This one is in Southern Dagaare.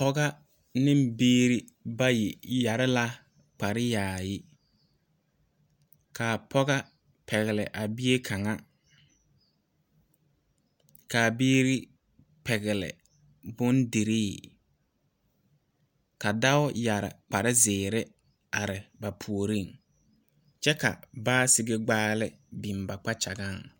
Pɔge ane biire bayi su la kpareyaani. A pɔge pɛgle la a bie kaŋ kyɛ ka a biire pɛgle boŋdiree. Dɔɔ su la kparezeɛ a are ba puoreŋ kyɛ ka sakere gbaale biŋ ba kpakyaga pʋɔ.